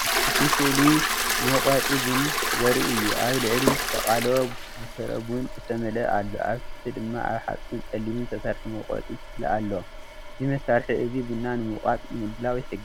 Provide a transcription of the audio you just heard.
እቲ ስእሊ መውቀጢ ቡን ዘርኢ እዩ። ኣብ ላዕሊ ዝተቀለወ ብፍረ ቡን ዝተመልአ ኣሎ፣ ኣብ ታሕቲ ድማ ካብ ሓጺንን ጸሊምን ዝተሰርሐ መውቀጢ ክፍሊ ኣሎ። እዚ መሳርሒ እዚ ቡን ንምውቃጥ ንምድላው ይሕግዝ።